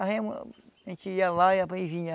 A remo, a gente ia lá, e aí vinha